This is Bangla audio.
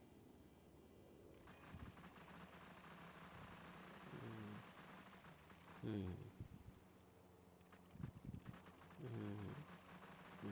হম হম হম হম